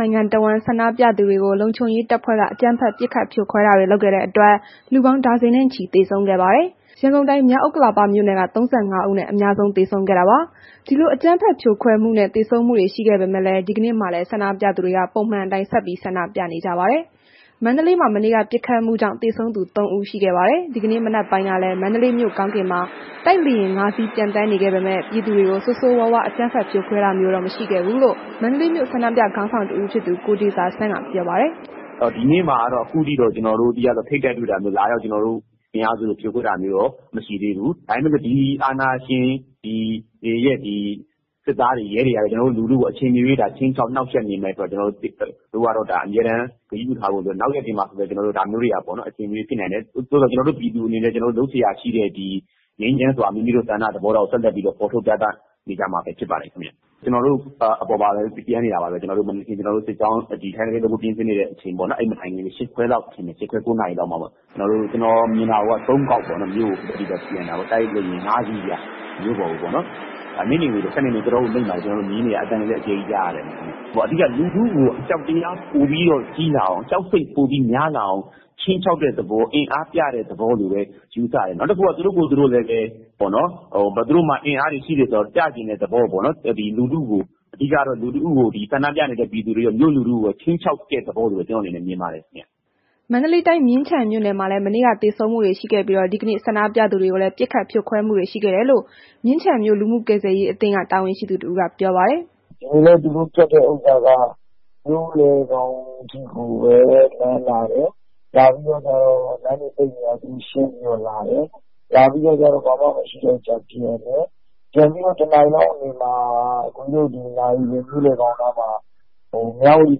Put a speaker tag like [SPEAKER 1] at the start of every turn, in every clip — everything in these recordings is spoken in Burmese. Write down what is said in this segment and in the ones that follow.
[SPEAKER 1] နိုင်ငံတစ်ဝန်း ဆန္ဒပြသူတွေကို လုံခြုံရေးတပ်ဖွဲ့က အကြမ်းဖက် ပစ်ခတ်ဖြိုခွဲတာတွေ လုပ်ခဲ့တဲ့ အတွက် လူပေါင်း ဒါဇင်နဲ့ချီ သေဆုံးခဲ့ပါတယ်။ ရန်ကုန်တိုင်းမြောက်ဥက္ကလာမြို့နယ်က ၃၅ ဦးနဲ့ အများဆုံး သေဆုံးခဲ့တာပါ။ ဒီလို အကြမ်းဖက် ပစ်ခတ်ဖြိုခွဲမှု သေဆုံးမှုတွေ ရှိခဲ့ပေမဲ့ ဒီကနေ့မှာလည်း ဆန္ဒပြသူတွေက ပုံမှန်အတိုင်း ဆက်ပြီးဆန္ဒပြနေကြပါတယ်။ မန္တလေးမှာ မနေ့က ပစ်ခတ်မှုကြောင့် သေဆုံးသူ သုံးဦး ရှိခဲ့ပါတယ်။ ဒီကနေ့မနက်ပိုင်းကလည်း မန္တလေးမြို့ ကောင်းကင်မှာ တိုက်လေယာဉ် ငါး စီး ပျံသန်းနေခဲ့ပေမဲ့ ဆန္ဒပြသူတွေကို ဆိုးဆိုးဝါးဝါး အကြမ်းဖက် ဖြိုခွင်းတာမျိုးတော့ မရှိခဲ့ဘူးလို့ မန္တလေးမြို့ ဆန္ဒပြ ခေါင်းဆောင်တစ်ဦးဖြစ်သူ ကိုတေဇာဆန်းက ပြောပါတယ်
[SPEAKER 2] ။ “ဒီနေ့မှာတော့ ထိပ်တိုက်တွေတော့ ကျနော်တို့ အင်အားစုတွေ ဖြိုခွင်းတာမျိုးတော့ အမရှိသေးဘူး။ ဒါပေမဲ့ ဒီအာဏာရှင်တွေရဲ့ ဒီစစ်သားတွေ၊ ရဲတွေက ကျနော်တို့ လူထုကို အချိန်မရွေး ခြိမ်းခြောက်နှောင့်ယှက်နေမယ်ဆိုတာ ကျနော်တို့က အမြဲတမ်း သတိပြုထားဖို့လိုတယ်။ နောက်ရက်တွေမှာဆိုလည်း ဒါမျိုးတွေက အချိန်မရွေးဖြစ်နိုင်တယ်။ သို့သော်ကျနော်တို့ ပြည်သူတွေကလည်း လုပ်စရာရှိတဲ့ ငြိမ်းချမ်းစွာ ဆန္ဒဖော်ထုတ်တာကို ဆက်လက်ပြီးတော့ ဖော်ထုတ်ပြသနေကြမှာပါခင်ဗျ။ ကျနော်တို့ အပေါ်မှာပျံနေတာပါပဲ။ ကျနော်တို့ ထိုင်သပိတ်လုပ်ဖို့ပြင်ဆင်နေချိန်ပေါ့နော်။ အဲ့မတိုင်ခင် ၈ ခွဲ၊ ၉ နာရီလောက်မှာပေါ့။ ကျနော်မြင်တာက သုံးခေါက်ပေါ့။ မြို့ကို ဖြတ်ပြီးတော့ ပျံတာပေါ့။ တိုက်လေယာဉ် ငါး စီးဗျ၊ မြို့ပေါ်ကိုပေ့ါနော်။ နိမ့်နိမ့်လေးပဲ တော်တော်ကိုနိမ့်တယ်။ ကျနော်တို့ မြင်နေရတယ်။ အသံတွေလည်း ကြားနေရတယ်ဗျ။ အဓိက လူထုကို ပိုပြီးတော့ အကြောက်တရား၊ ကြောက်စိတ် ပိုပြီးများလာအောင် ခြိမ်းခြောက်တဲ့ သဘော၊ အင်အားပြတဲ့သဘောလို့ပဲ ယူဆတယ်။ နောက်တစ်ခုက သူတို့ကိုယ်သူတို့လည်းပဲ သူတို့မှာ အင်အားတွေ ရှိတယ်ဆိုတာကို ပြချင်တဲ့သဘောပေါ့နော်။ အဓိကကတော့ ဆန္ဒပြနေတဲ့ မြို့လူထုကို ခြိမ်းခြောက်တဲ့သဘောလို့ပဲ ကျနော့်အနေနဲ့မြင်ပါတယ် ခင်ဗျ။
[SPEAKER 1] ” မန္တလေးတိုင်း မြင်းခြံမြို့နယ်မှာလည်း မနေ့က သေဆုံးမှုတွေရှိခဲ့ပြီး ဒီကနေ့ ဆန္ဒပြသူတွေကိုလည်း ပစ်ခတ်ဖြိုခွဲမှုတွေ ရှိခဲ့တယ်လို့ မြင်းခြံမြို့ လူမှုကယ်ဆယ်ရေး အသင်းက တာဝန်ရှိသူတစ်ဦးက ပြောပါတယ်။ “
[SPEAKER 3] ဒီနေ့ သူတို့ လုပ်တာက မြို့လယ်ခေါင်ကြီးကိုပဲ သူတို့ဖြတ်လာတယ်။ လာတော့ လမ်းတွေ ပိတ်နေတာကို ရှင်းပြီးတော့ သူတို့တွေ လာတယ်။ လာပြီးတော့ ဘာမှမရှိတော့ ပြန်တယ်။ ပြန်ပြီးတော့ တစ်နာရီလောက်နေတော့ နာရီစင် မြို့လယ်ခေါင်နားမှာ မြဝတီ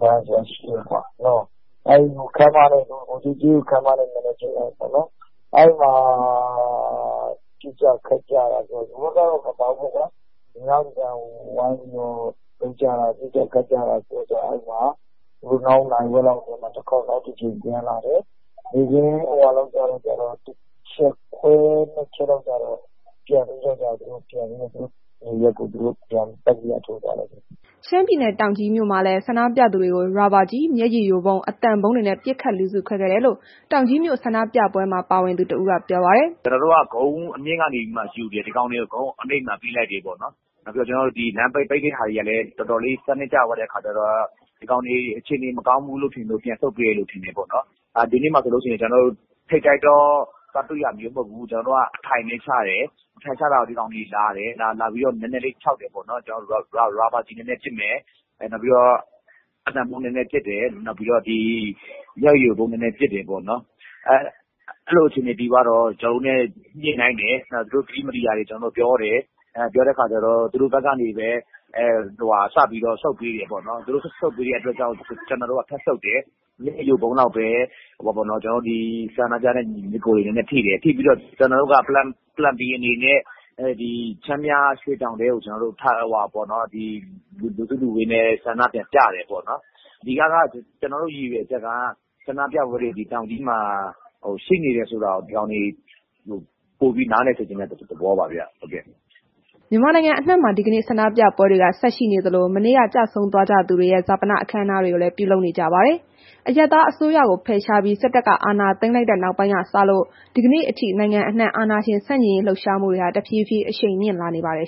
[SPEAKER 3] ဘဏ်ဆိုတာရှိတယ်။ ဗိုလ်ချုပ်ကြေးရုပ်ခန်းမနဲ့ မျက်နှာချင်းဆိုင်ပေါ့နော်။ အဲ့ဒီမှာ ပစ်ကြ၊ ခတ်ကြတာတွေရှိတယ်။ ဒို့ဘက်ကတော့ မပါဘူးပေါ့ကွာ၊ သေနတ်ဒင်နဲ့ ဝိုင်းထုတာ ပစ်ကြ၊ ခတ်ကြတာတွေ။ အဲ့ဒီမှာ နောက်နာရီဝက်လောက်မှာ တစ်ခေါက် ပြန်လာတယ်။ နေ့ခင်း တစ်ချက်ခွဲ နှစ်ချက်လောက်ကျတော့ သူတို့ ပြန်သွားကြတယ်။”
[SPEAKER 1] ရှမ်းပြည်နယ် တောင်ကြီးမှာလည်း ဆန္ဒပြသူတွေကို ရာဘာကျည် မျက်ရည်ယိုဗုံး အသံဗုံးတွေနဲ့ ပစ်ခတ် လူစုခွဲခဲ့တယ်လို့ တောင်ကြီးမြို့ ဆန္ဒပြပွဲမှာ ပါဝင်သူတစ်ဦး က ပြောပါတယ်။
[SPEAKER 2] “ကျနော်တို့က ကုန်းအမြင့်ကနေမှ နေရာယူတယ်။ ဒီကောင်တွေကို ကုန်းနိမ့်ဘက်ကို ပေးလိုက်တယ်ပေါ့နော်။ နောက်ပြီးတော့ လမ်းပိတ်တာတွေကလည်း တော်တော်လေး စနစ်ကျသွားတဲ့ အခါကျတော့ ဒီကောင်တွေ အခြေအနေ မကောင်းဘူး... ထင်လို့ ပြန်ဆုတ်ပေးတယ်လို့ ထင်တယ်ပေါ့နှော်။ ဒီနေ့က ကျနော်တို့ ထိပ်တိုက်သွားတွေ့တာမျိုး မဟုတ်ဘူး။ ကျနော်တို့က အထိုင်ချတယ်၊ အထိုင်ချတာကို ဒီကောင်တွေလာတယ်။ လာပြီးတော့ နည်းနည်းခြောက်တယ်ပေါ့နော်။ ရာဘာကျဉ်နည်းနည်းပစ်တယ်။ နောက်ပြီးတော့ အသံဗုံး နည်းနည်းပစ်တယ်။ နောက်ပြီးတော့ မျက်ရည်ယိုဗုံး နည်းနည်း ပစ်တယ်ပေါ့နော်။ အဲ့ဒီလိုအခြေအနေဖြစ်သွားတော့ ကျနော်တို့နဲ့ ညှိနှိုင်းတယ်။ သူတို့ဘက်က ကတိမတည်တာတွေ ကျနော်တို့ ပြောတော့ သူတို့ဘက်က ဆုတ်ပေးတယ်။ သူတို့ ဆုတ်ပေးတဲ့အတွက်ကြောင့် ကျနော်တို့ ထပ်ဆုတ်တယ်။ မျက်ရည်ယိုဗုံးလောက်ပဲ ကျနော်တို့ ဒီ ဆန္ဒပြတဲ့ ညီအကိုတွေ နည်းနည်းထိတယ်။ ကျနော်တို့က Plan B အနေနဲ့ ချမ်းမြရွှေတောင်ထဲကို လူစုလူဝေးနဲ့ ဆန္ဒပြန်ပြတယ်ပေါ့နော်။ အဓိကက ကျနော်တို့ ရည်ရွယ်ချက်က ဆန္ဒပြပွဲတွေဟာ တောင်ကြီးမှာရှိနေတယ်ဆိုတာကို ဒီကောင်တွေ ပိုပြီး နားလည်စေချင်တဲ့ သဘောပါဗျ။" မ
[SPEAKER 1] ြန်မာနိုင်ငံအနှံ့မှာ ဒီကနေ့ ဆန္ဒပြပွဲတွေက ဆက်ရှိနေသလို မနေ့က ကျဆုံးသွားကြသူတွေရဲ့ ဈာပန အခမ်းအနားတွေလည်း ပြုလုပ်နေကြပါတယ်။ အရပ်သားအစိုးရကို ဖယ်ရှားပြီး စစ်တပ်က အာဏာသိမ်းလိုက်တဲ့ နောက်ပိုင်းကစလို့ ဒီကနေ့အထိ နိုင်ငံအနှံ့အာဏာရှင် ဆန့်ကျင်လှုပ်ရှားမှုတွေဟာ တဖြည်းဖြည်း အရှိန်မြင့်လာနေပါတယ်